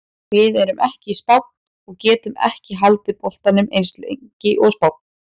Við erum ekki Spánn og getum ekki haldið boltanum eins lengi og Spánn.